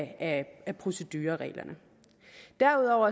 af procedurereglerne derudover